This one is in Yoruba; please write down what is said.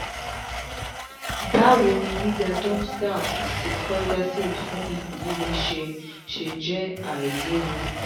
báwo ni gbígba domstal àti coidacid fun ikun lile se se je ailewu?